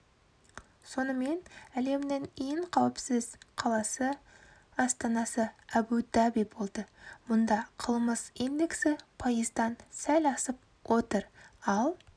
сонымен әлемнің ең қауіпсіз қаласы астанасы әбу-даби болды мұнда қылмыс индексі пайыздан сәл асып отыр ал